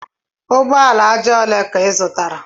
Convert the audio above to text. Ugbo ala aja ole ka ị zụtara?